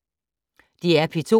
DR P2